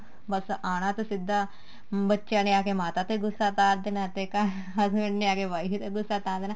ਬੱਸ ਆਣਾ ਤੇ ਸਿੱਧਾ ਬੱਚਿਆਂ ਨੇ ਆ ਕੇ ਮਾਤਾ ਤੇ ਗੂੱਸਾ ਉਤਾਰ ਦੇਣਾ ਤੇ ਘਰ husband ਨੇ ਆ ਕੇ wife ਤੇ ਗੂੱਸਾ ਉਤਾਰ ਦੇਣਾ